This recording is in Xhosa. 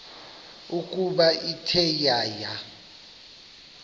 ukuba ithe yaya